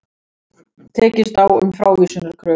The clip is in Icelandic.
Tekist á um frávísunarkröfu